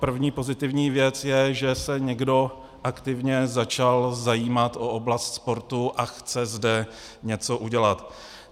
První pozitivní věc je, že se někdo aktivně začal zajímat o oblast sportu a chce zde něco udělat.